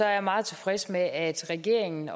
jeg meget tilfreds med at regeringen